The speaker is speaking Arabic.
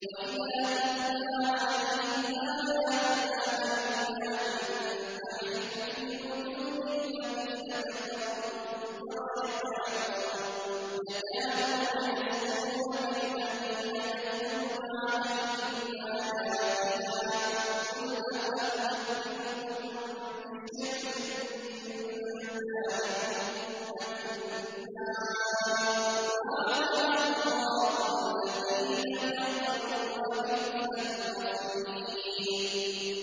وَإِذَا تُتْلَىٰ عَلَيْهِمْ آيَاتُنَا بَيِّنَاتٍ تَعْرِفُ فِي وُجُوهِ الَّذِينَ كَفَرُوا الْمُنكَرَ ۖ يَكَادُونَ يَسْطُونَ بِالَّذِينَ يَتْلُونَ عَلَيْهِمْ آيَاتِنَا ۗ قُلْ أَفَأُنَبِّئُكُم بِشَرٍّ مِّن ذَٰلِكُمُ ۗ النَّارُ وَعَدَهَا اللَّهُ الَّذِينَ كَفَرُوا ۖ وَبِئْسَ الْمَصِيرُ